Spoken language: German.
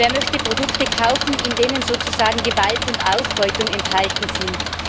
Wer möchte Produkte kaufen, in denen sozusagen Gewalt und Ausbeutung enthalten sind?